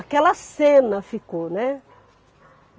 Aquela cena ficou, né?